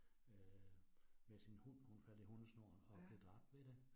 Øh med sin hund, hun faldt i hundesnoren, og blev dræbt ved det